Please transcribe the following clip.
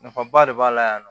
Nafaba de b'a la yan nɔ